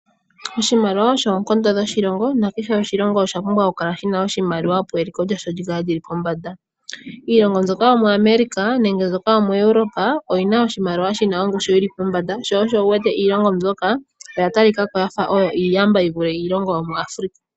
Oshimaliwa osho oonkondo dhoshilongo nakehe oshilongo osha pumbwa okukala shi na iimaliwa, opo eliko lyasho li kale li li pombanda. Iilngo mbyoka yomuEuroapa nenge yomu America oyi na oshimaliwa shi na ongushu yi li pombanda sho osho wu wete iilongo mbyoka oya talika ko ya fa oyo iiyamba yi vule yomuAfrika.